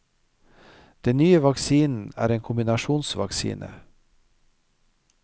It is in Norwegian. Den nye vaksinen er en kombinasjonsvaksine.